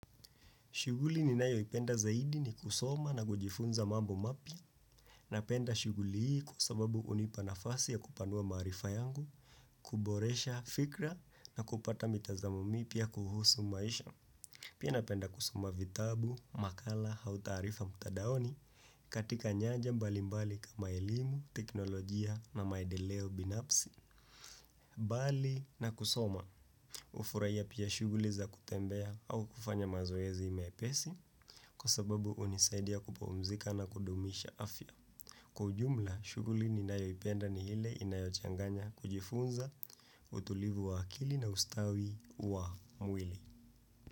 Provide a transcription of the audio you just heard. Shughuli ninayo ipenda zaidi ni kusoma na kujifunza mambo mapya. Napenda shughuli hii kwa sababu unipa nafasi ya kupanua maarifa yangu, kuboresha fikra na kupata mitazamo mipya kuhusu maisha. Pia napenda kusoma vitabu, makala au taarifa mtandaoni katika nyaja mbali mbali kama elimu, teknolojia na maendeleo binafsi. Mbali na kusoma ufurahiya pia shughuli za kutembea au kufanya mazoezi mepesi kwa sababu unisaidia kupumzika na kudumisha afya. Kwa ujumla shughuli ninayo ipenda ni hile inayochanganya kujifunza utulivu wa akili na ustawi wa mwili.